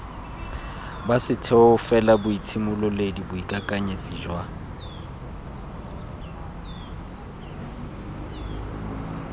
ba setheo felaboitshimololedi boikakanyetsi jwa